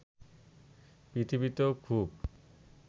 পৃথিবীতেও খুব